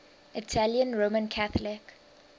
italian roman catholic